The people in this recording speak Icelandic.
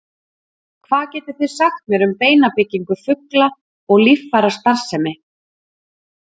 hvað getið þið sagt mér um beinabyggingu fugla og líffærastarfsemi